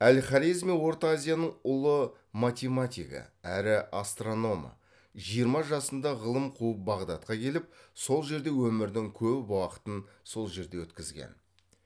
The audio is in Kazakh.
әл хорезми орта азияның ұлы математигі әрі астрономы жиырма жасында ғылым қуып бағдатқа келіп сол жерде өмірдің көп уақытын сол жерде өткізген